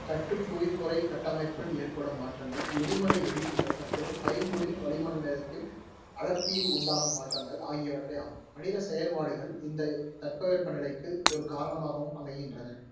தட்டுப் புவிப்பொறைக் கட்டமைப்பில் ஏற்படும் மாற்றங்கள், எரிமலை வெடிப்புகள் மற்றும் பைங்குடில் வளிமண்டலத்தின் அடர்த்தியில் உண்டாகும் மாற்றங்கள் ஆகியவற்றையாகும். மனிதச் செயற்பாடுகள் இந்தத் தட்பவெப்பநிலைக்கு ஒரு காரணமாகவும் அமைகின்றன.